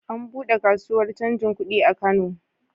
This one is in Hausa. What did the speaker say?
An buɗe kasuwar canjin kudi a Kano.